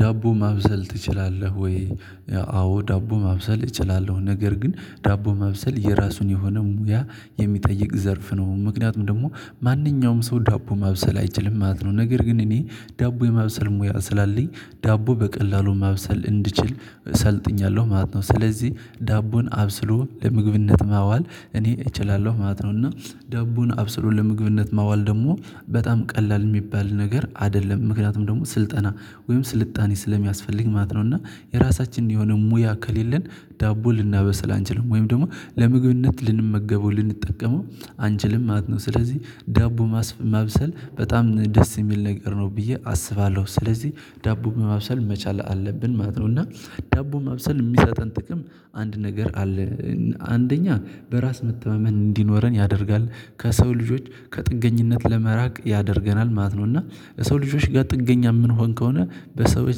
ዳቦ ማብሰል ትችላለህ ወይ? አዎ ዳቦ ማብሰል እችላለሁ ነገር ግን ዳቦ ማብሰል የራሱን የሆነ ሙያ የሚጠይቅ ዘርፍ ነው። ምክንያቱም ደግሞ ማንኛውም ሰው ዳቦ ማብሰል አይችልም ማለት ነው። ነገር ግን እኔ ዳቦ የማብሰል ሙያ ስላለኝ ዳቦ በቀላሉ ማብሰል እንድችል ሰልጥኛለሁ ማለት ነው። ስለዚህ ዳቦን አብስሎ ለምግብነት ማዋል እኔ እችላለሁ ማለት ነው። እና ዳቦን አብስሎ ለምግብነት ማዋል ደግሞ በጣም ቀላል የሚባል ነገር አይደለም። ምክንያቱም ደግሞ ስልጠና ወይም ስልጣኔ ስለሚያስፈልግ ማለት ነው። እና የራሳችንን የሆነ ሙያ ከሌለን ዳቦ ልናበስል አንችልም ወይም ደግሞ ለምግብነት ልንመገበው ልንጠቀመው አንችልም ማት ነው። ስለዚህ ዳቦ ማብሰል በጣም ደስ የሚል ነገር ነው ብዬ አስባለሁ። ስለዚህ ዳቦ ማብሰል መቻል አለብን ማለት ነው። እና ዳቦ ማብሰል የሚሰጠን ጥቅም አንድ ነገር አለ። አንደኛ በራስ መተማመን እንዲኖረን ያደርጋል ከሰው ልጆች ከጥገኝነት ለመራቅ ያደርገናል ማለት ነው። እና የሰው ልጆች ጋር ጥገኛ የምንሆን ከሆነ በሰዎች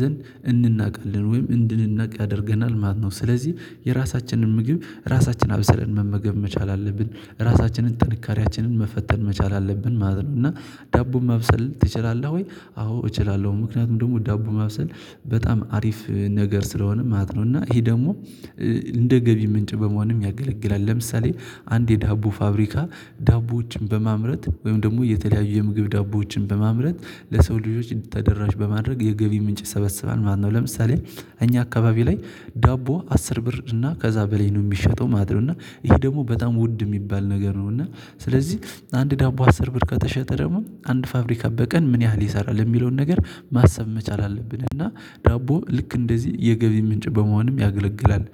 ዘንድ እንናቃለን ወይም እንድንናቅ ያደርገናል። ማነው ስለዚህ የራሳችንን ምግብ ራሳችን አብሰለን መመገብ መቻል አለብን ራሳችንን ጥንካሬያችንን መፈተን መቻል አለብን ማለት ነው። እና ዳቦ ማብሰል ትችላለህ ወይ? አዎ እችላለሁ ምክንያቱም ደግሞ ዳቦ ማብሰል በጣም አሪፍ ነገር ስለሆነ ማለት ነው። እና ይሄ ደግሞ እንደ ገቢ ምንጭ በመሆንም ያገለግላል። ለምሳሌ አንድ የዳቦ ፋብሪካ ዳቦዎችን በማምረት ወይም ደግሞ የተለያዩ የምግብ ዳቦዎችን በማምረት ለሰው ልጆች ተደራሽ በማድረግ የገቢ ምንጭ ሰበስባል ማነው። ለምሳሌ እኛ አካባቢ ላይ ዳቦ አስር ብር እና ከዛ በላይ ነው የሚሸጠው ማለት ነው። እና ይሄ ደግሞ በጣም ውድ የሚባል ነገር ነው። እና ስለዚህ አንድ ዳቦ አስር ብር ከተሸጠ ደግሞ አንድ ፋብሪካ በቀን ምን ያህል ይሰራል የሚለውን ነገር ማሰብ መቻል አለብን። እና ዳቦ ልክ እንደዚህ የገቢ ምንጭ በመሆንም ያገለግላል።